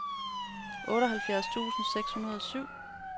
otteoghalvfjerds tusind seks hundrede og syv